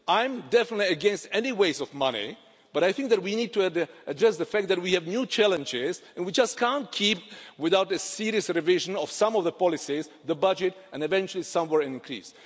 I'm definitely against any waste of money, but I think that we need to address the fact that we have new challenges and we just can't keep, without a serious revision of some of the policies, the budget, and eventually the sum will increase.